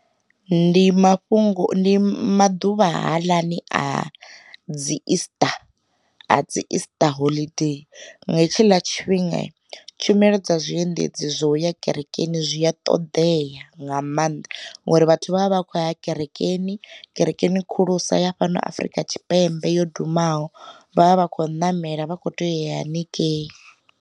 Ndi mafhungo ndi maḓuvha haaḽani a dzi easter a dzi easter holiday. Nga hetshila tshifhinga tshumelo dza zwiendedzi zwo ya kerekeni zwi a ṱoḓea nga maanḓa, ngori vhathu vha vha vha kho ya kerekeni, kerekeni khulusa ya fhano Afrika Tshipembe yo dumaho vhavha vha khou namela vha kho toya haningei.